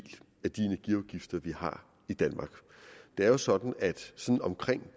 af de energiafgifter vi har i danmark det er jo sådan at omkring